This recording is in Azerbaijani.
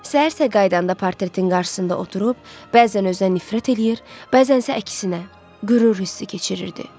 Səhərsə qayıdanda portretin qarşısında oturub, bəzən özünə nifrət eləyir, bəzənsə əksinə qürur hissi keçirirdi.